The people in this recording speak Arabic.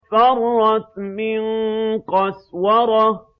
فَرَّتْ مِن قَسْوَرَةٍ